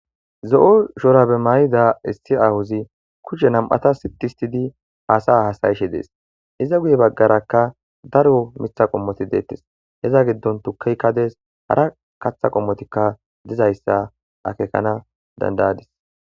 Zo'o shora be mayida issi ahuzi kushe nam'ata sitistidi haasay hasayishe dees iza guye baggarakka daro mitha qommoti deettes heza giddon tukaykka dees hara katha qommotikka dizayssa akekana dandayadis.